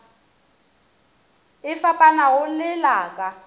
e fapanago le la ka